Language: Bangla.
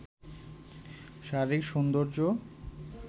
শারীরিক সৌন্দর্য